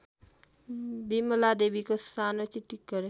बिमलादेवीको सानो चिटिक्क